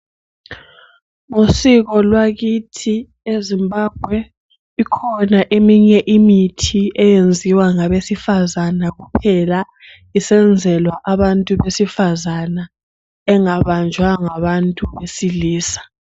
Usiko lwakithi eZimbabwe ikhona eminye imithi eyenziwa ngabesifazana kuphela. Isenzelwa abantu besifazana engabanjwa ngabantu abesilisa.